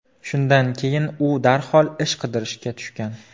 Shundan keyin u darhol ish qidirishga tushgan.